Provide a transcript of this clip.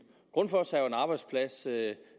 grundfos er jo en arbejdsplads med